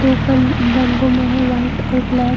दो कलर रंगो में है वाइट और ब्लैक |